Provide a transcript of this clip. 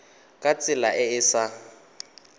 ka tsela e e sa